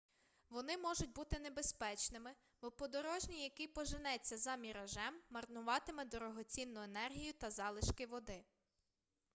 вони можуть бути небезпечними бо подорожній який поженеться за міражем марнуватиме дорогоцінну енергію та залишки води